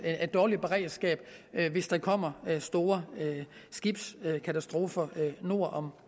dårligt beredskab hvis der kommer store skibskatastrofer nord